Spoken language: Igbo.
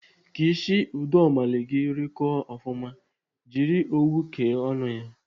Ka isi udomalị gị rịkọọ ofụma, jiri owu kee ọnụ ya.